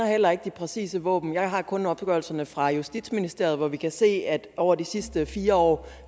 heller ikke de præcise våben jeg har kun en opgørelse fra justitsministeriet hvor vi kan se at over de sidste fire år